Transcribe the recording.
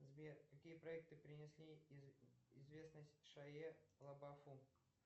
сбер какие проекты принесли известность шае лабафу